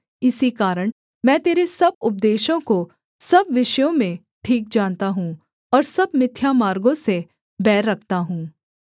इसी कारण मैं तेरे सब उपदेशों को सब विषयों में ठीक जानता हूँ और सब मिथ्या मार्गों से बैर रखता हूँ